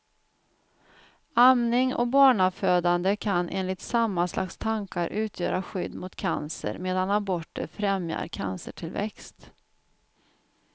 Amning och barnafödande kan enligt samma slags tankar utgöra skydd mot cancer, medan aborter främjar cancertillväxt.